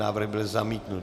Návrh byl zamítnut.